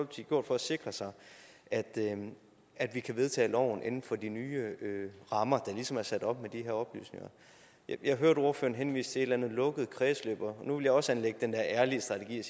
gjort for at sikre sig at at vi kan vedtage loven inden for de nye rammer der ligesom er sat op med de her oplysninger jeg hørte ordføreren henvise til andet lukket kredsløb og nu vil jeg også anlægge den der ærlige strategi